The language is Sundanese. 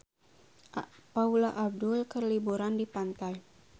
Paula Abdul keur liburan di pantai